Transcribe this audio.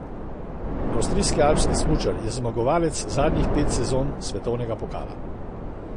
Avstrijski alpski smučar je zmagovalec zadnjih petih sezon svetovnega pokala.